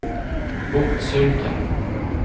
Botkyrka